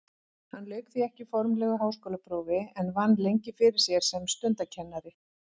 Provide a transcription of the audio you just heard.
Hann lauk því ekki formlegu háskólaprófi en vann lengi fyrir sér sem stundakennari.